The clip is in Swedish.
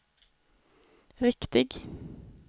riktig